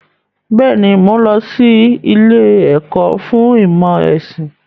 Bẹ́ẹ̀ni, mo n lọ sí ilé ẹ̀kọ́ fún ìmọ̀ ẹ̀sìn.